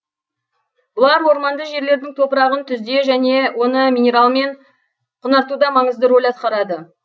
бұлар орманды жерлердің топырағын түзуде және оны минералмен құнартуда маңызды рөл атқарады